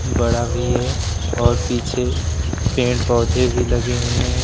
बड़ा भी है और पीछे पेड़ पौधे भी लगे हुए हैं।